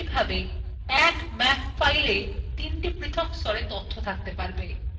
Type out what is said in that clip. এই ভাবে এক map fileএই তিনটি পৃথক স্তরে তথ্য থাকতে পারবে